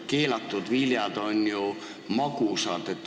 Keelatud viljad on ju magusad.